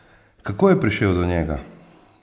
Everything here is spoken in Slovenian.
Kako je prišel do njega?